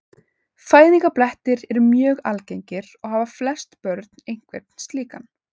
Fæðingarblettir eru mjög algengir og hafa flest börn einhvern slíkan.